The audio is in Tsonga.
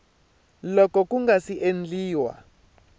loko ku nga si endliwa